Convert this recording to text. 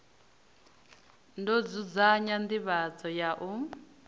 ḓo dzudzanya nḓivhadzo ya u